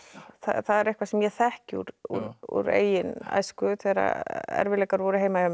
það er eitthvað sem ég þekki úr eigin æsku þegar erfiðleikar voru heima hjá mér